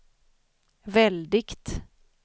väldigt